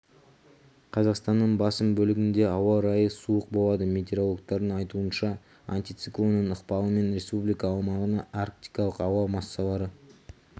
қазақстанның басым бөлігінде ауа райы суық болады метеорологтардың айтуынша антициклонның ықпалымен республика аумағына арктикалық ауа массалары